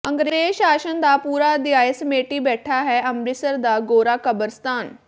ਅੰਗਰੇਜ਼ ਸ਼ਾਸਨ ਦਾ ਪੂਰਾ ਅਧਿਆਇ ਸਮੇਟੀ ਬੈਠਾ ਹੈ ਅੰਮਿ੍ਤਸਰ ਦਾ ਗੋਰਾ ਕਬਰਸਤਾਨ